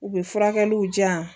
U bɛ furakɛliw diyan